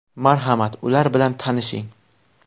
Marhamat, ular bilan tanishing.